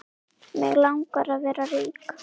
Mig langar að vera rík.